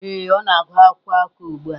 Ee, ọ na-agụ akwụkwọ akụkọ ugbu a.